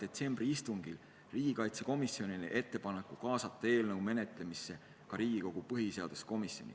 detsembri istungil riigikaitsekomisjonile ettepaneku kaasata eelnõu menetlemisse ka põhiseaduskomisjon.